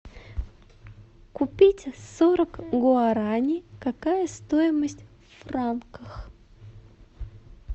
купить сорок гуарани какая стоимость в франках